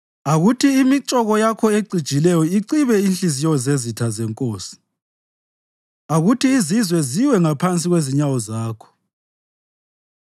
Akuthi imitshoko yakho ecijileyo icibe inhliziyo zezitha zenkosi; akuthi izizwe ziwe ngaphansi kwezinyawo zakho.